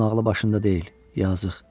Onun ağlı başında deyil, yazıq.